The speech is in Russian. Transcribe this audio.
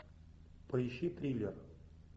поищи триллер